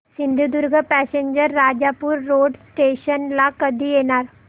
Sindhudurg passenger Rajapur road station ला कधी येणार